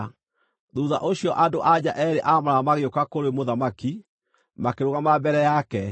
Thuutha ũcio andũ-a-nja eerĩ a maraya magĩũka kũrĩ mũthamaki, makĩrũgama mbere yake.